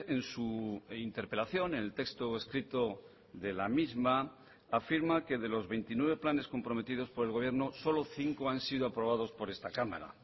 en su interpelación en el texto escrito de la misma afirma que de los veintinueve planes comprometidos por el gobierno solo cinco han sido aprobados por esta cámara